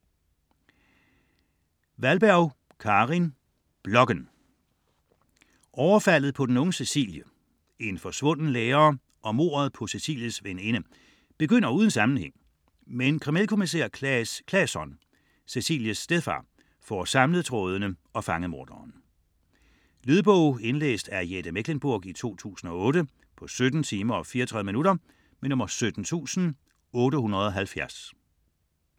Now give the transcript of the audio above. Wahlberg, Karin: Blokken Overfaldet på den unge Cecilie, en forsvunden lærer og mordet på Cecilies veninde begynder uden sammenhæng, men kriminalkommisær Claes Claesson - Cecilies stedfar - får samlet trådene og fanget morderen. Lydbog 17870 Indlæst af Jette Mechlenburg, 2008. Spilletid: 17 timer, 34 minutter.